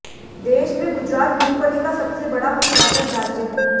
देश में गुजरात मूंगफली का सबसे बड़ा उत्पादक राज्य है